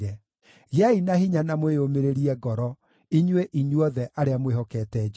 Gĩai na hinya na mwĩyũmĩrĩrie ngoro, inyuĩ inyuothe arĩa mwĩhokete Jehova.